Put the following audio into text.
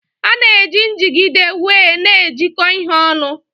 A na-eji njigide wee na ejiko ihe onu.